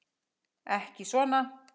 Ekki svona.